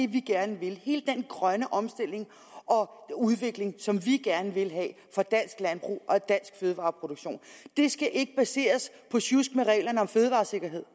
vi gerne vil hele den grønne omstilling og udvikling som vi gerne vil have for dansk landbrug og dansk fødevareproduktion ikke skal baseres på sjusk med reglerne om fødevaresikkerhed